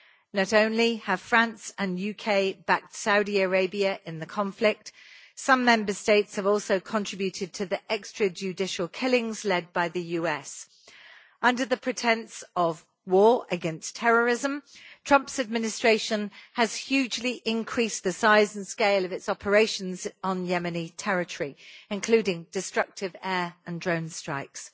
Not only have France and the UK backed Saudi Arabia in the conflict, some Member States have also contributed to the extrajudicial killings led by the US. Under the pretence of war against terrorism, The Trump administration has hugely increased the size and scale of its operations on Yemeni territory, including destructive air and drone strikes.